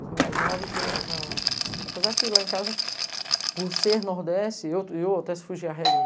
Os mais novos, eu já... Apesar que lá em casa, por ser nordeste, eu até se fugia a regra.